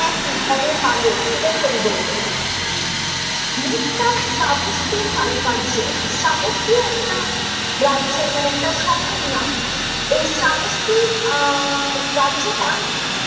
একই ঘন কালো এটাই কবি বললেন ।মুখ তার চাবত্তি কারুকার্য চাবত্তি একটা রাজা মানে একটা শহরের নাম এই চাবত্তি আহ রাজ্যটা